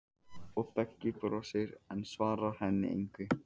Og Beggi brosir, en svarar henni engu.